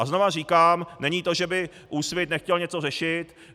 A znovu říkám, není to, že by Úsvit nechtěl něco řešit.